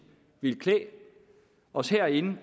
ville klæde os herinde